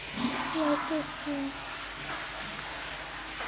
lasesini